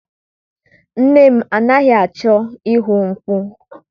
Nne m anaghị achọ ihu mkpu.